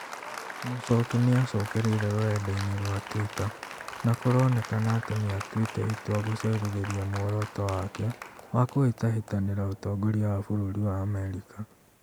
Muchoki niacokereirie rũrenda-inĩ rwa Twitter na kũronekana atĩ nĩatuĩte itua gũcerithĩria mworoto wake wa kũhĩtahĩtanĩra ũtongoria wa bũrũri wa Amerika